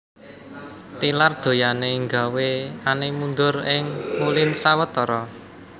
Tilar donyané nggawé Anne mundur ing Moulins sewetara